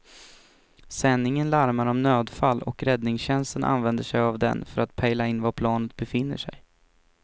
Sändningen larmar om nödfall och räddningstjänsten använder sig av den för att pejla in var planet befinner sig.